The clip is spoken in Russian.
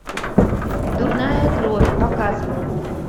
дурная кровь показывай